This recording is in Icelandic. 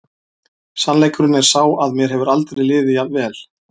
Sannleikurinn er sá að mér hefur aldrei liðið jafn vel.